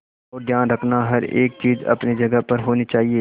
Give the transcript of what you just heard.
ध्यान रखना हर एक चीज अपनी जगह पर होनी चाहिए